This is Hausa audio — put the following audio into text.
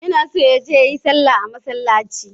Yana son ya je ya yi sallah a masallaci.